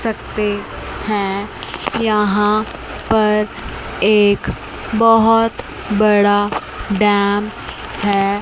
सकते हैं यहां पर एक बहुत बड़ा डैम है।